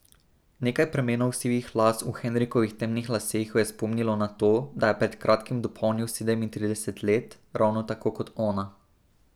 Nekaj pramenov sivih las v Henrikovih temnih laseh jo je spomnilo na to, da je pred kratkim dopolnil sedemintrideset let, ravno tako kot ona.